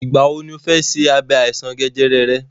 Ìgbà wọ ni ọ fẹ ṣe iṣẹ́ abẹ àìsàn jẹjẹrẹ rẹ?